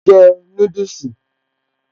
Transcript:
Mò ń jẹ núdùsì